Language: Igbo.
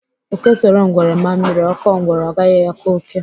Ókè soro ngwere ma mmiri, ọ kọọ ngwere, ọ gaghị akọ ókè.